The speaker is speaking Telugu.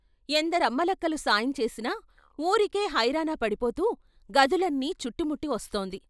ఎందరమ్మలక్కలు సాయం చేసినా వూరికే హైరానా పడిపోతూ గదులన్నీ చుట్టుముట్టి వస్తోంది.